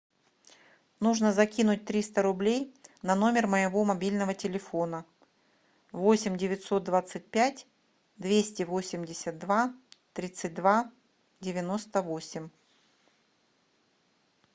нужно закинуть триста рублей на номер моего мобильного телефона восемь девятьсот двадцать пять двести восемьдесят два тридцать два девяносто восемь